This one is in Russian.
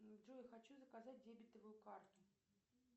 джой хочу заказать дебетовую карту